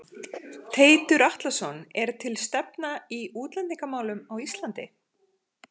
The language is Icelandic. Teitur Atlason: Er til stefna í útlendingamálum á Ísland?